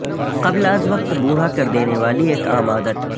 قبل از وقت بوڑھا کر دینے والی ایک عام عادت